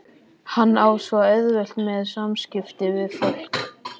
Hann á svo auðvelt með samskipti við fólk.